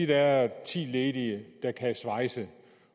der er ti ledige og kan svejse